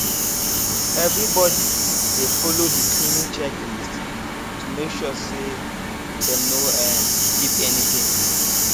everybody dey follow the cleaning checklist to make sure say dem no um skip anyting